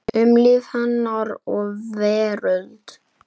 Um líf hennar og veröld.